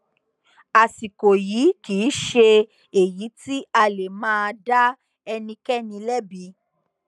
àsìkò yìí kì í ṣe èyí tí a lè máa dá ẹnikẹni lẹbi